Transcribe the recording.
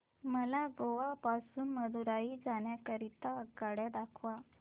मला गोवा पासून मदुरई जाण्या करीता आगगाड्या दाखवा